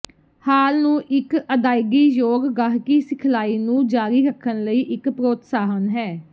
ਹਾਲ ਨੂੰ ਇਕ ਅਦਾਇਗੀਯੋਗ ਗਾਹਕੀ ਸਿਖਲਾਈ ਨੂੰ ਜਾਰੀ ਰੱਖਣ ਲਈ ਇਕ ਪ੍ਰੋਤਸਾਹਨ ਹੈ